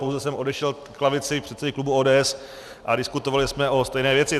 Pouze jsem odešel k lavici předsedy klubu ODS a diskutovali jsme o stejné věci.